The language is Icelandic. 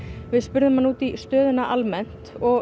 við spurðum hana út í stöðu mála almennt og